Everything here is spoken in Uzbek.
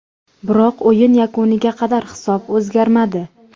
Biroq o‘yin yakuniga qadar hisob o‘zgarmadi.